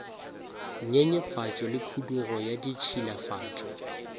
nyenyefatšo le khudugo ya ditšhilafatšo